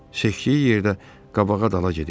Seçdiyi yerdə qabağa dala gedir.